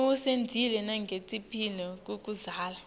usitjela nangetimphi takudzala